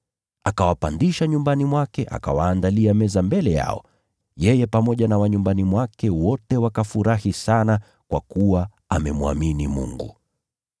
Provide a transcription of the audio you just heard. Akawapandisha nyumbani mwake akawaandalia chakula, yeye pamoja na nyumba yake yote wakafurahi sana kwa kuwa sasa walikuwa wamemwamini Mungu.